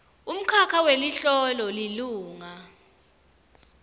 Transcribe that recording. umkhakha weliholo lilunga